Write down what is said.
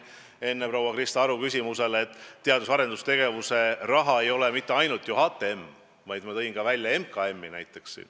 Enne proua Krista Aru küsimusele vastates ma ütlesin ka, et teadus- ja arendustegevuse raha ei ole mitte ainult HTM-i mure, ma tõin välja näiteks ka MKM-i.